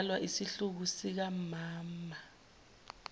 edalwa isihluku sikammmmmama